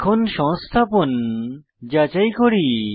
এখন সংস্থাপন যাচাই করি